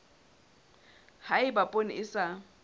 ha eba poone e sa